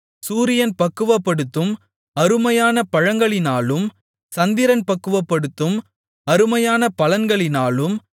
சூரியன் பக்குவப்படுத்தும் அருமையான பழங்களினாலும் சந்திரன் பக்குவப்படுத்தும் அருமையான பலன்களினாலும்